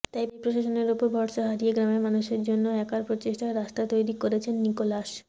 তাই প্রশাসনের উপর ভরসা হারিয়ে গ্রামের মানুষের জন্য একার প্রচেষ্টায় রাস্তা তৈরি করেছেন নিকোলাস